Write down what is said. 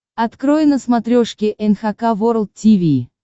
открой на смотрешке эн эйч кей волд ти ви